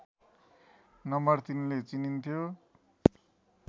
number ३ ले चिनिन्थ्यो